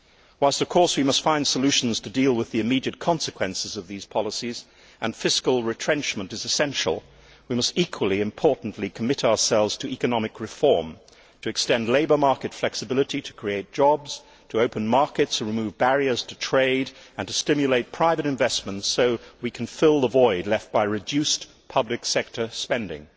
Whilst, of course, we must find solutions to deal with the immediate consequences of these policies, and fiscal retrenchment is essential, we must equally importantly commit ourselves to economic reform to extend labour market flexibility to create jobs, to open markets and remove barriers to trade, and to stimulate private investment so that we can fill the void left by reduced public sector spending.